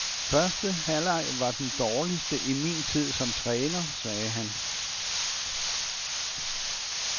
Første halvleg var den dårligste i min tid som træner, sagde han.